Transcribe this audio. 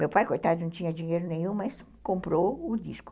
Meu pai, coitado, não tinha dinheiro nenhum, mas comprou o disco.